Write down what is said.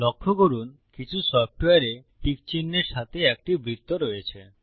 লক্ষ্য করুন কিছু সফ্টওয়্যারে টিক চিহ্নের সাথে একটি বৃত্ত রয়েছে